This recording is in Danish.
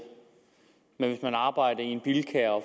med at man arbejder i en bilka og